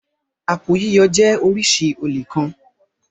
Àpò yíyọ jẹ́ oríṣi olè kan.